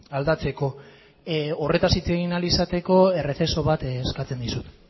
aldatzeko horretaz hitz egin ahal izateko errezeso bat eskatzen dizut